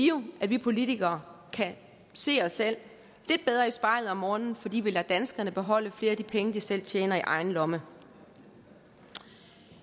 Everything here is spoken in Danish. jo at vi politikere kan se os selv lidt bedre i spejlet om morgenen fordi vi lader danskerne beholde flere af de penge de selv tjener i egen lomme